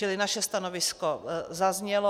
Čili naše stanovisko zaznělo.